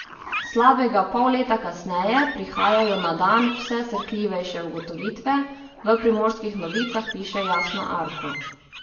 Slabega pol leta kasneje prihajajo na dan vse srhljivejše ugotovitve, v Primorskih novicah piše Jasna Arko.